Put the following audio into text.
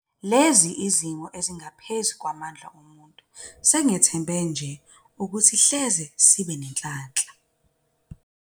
Lezi yizimo ezingaphezulu kwamandla omuntu, singethemba nje ukuthi hleze sibe nenhlanhla.